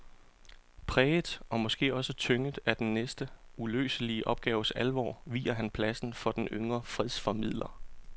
Præget og måske også tynget af den næsten uløselige opgaves alvor viger han pladsen for en yngre fredsformidler.